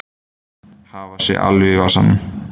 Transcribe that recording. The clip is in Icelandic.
Hafa sig alveg í vasanum.